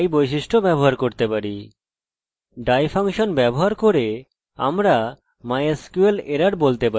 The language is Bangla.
die ফাংশন ব্যবহার করে আমরা mysql_error বলতে পারি যদি এটি না দেখা দেয় বা ঐরকম কিছু